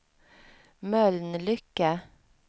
Mölnlycke